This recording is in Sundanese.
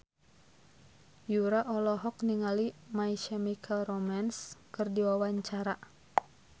Yura olohok ningali My Chemical Romance keur diwawancara